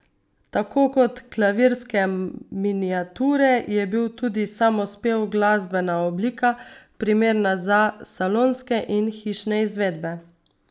Tako kot klavirske miniature je bil tudi samospev glasbena oblika, primerna za salonske in hišne izvedbe.